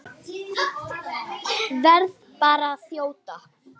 Verð bara að þjóta!